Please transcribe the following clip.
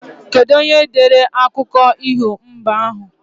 Kedu onyere dere akụko iho mbe ahu